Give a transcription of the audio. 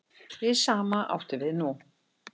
Hið sama átti við nú.